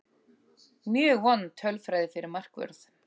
Mjög vond tölfræði fyrir markvörð.